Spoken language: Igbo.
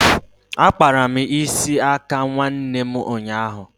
Akpara m isi aka nwanne ụnyaahụ